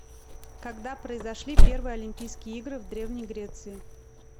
когда произошли первые олимпийские игры в древней греции